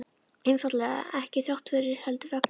Einfaldlega: ekki þrátt fyrir, heldur vegna.